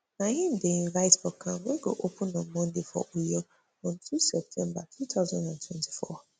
na im dem invite for camp wey go open on monday for uyo on two september two thousand and twenty-four